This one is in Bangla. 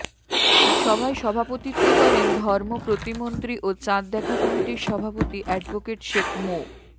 সভায় সভাপতিত্ব করেন ধর্ম প্রতিমন্ত্রী ও চাঁদ দেখা কমিটির সভাপতি অ্যাডভোকেট শেখ মো